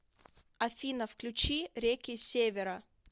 афина включи реки севера